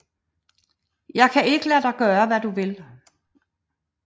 Jeg kan ikke lade dig gøre hvad du vil